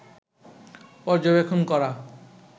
পর্যবেক্ষণ করা